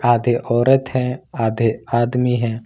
आधे औरत है आधे आदमी है।